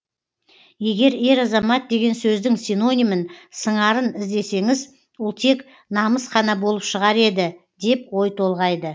егер ер азамат деген сөздің синонимін сыңарын іздесеңіз ол тек намыс қана болып шығар еді деп ой толғайды